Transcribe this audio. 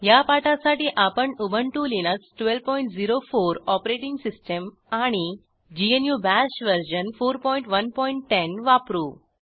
ह्या पाठासाठी आपण उबंटु लिनक्स 1204 ओएस आणि ग्नू बाश वर्जन 4110 वापरू